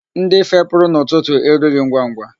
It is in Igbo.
Ndị fepụrụ n'ụtụtụ erughị ngwangwa.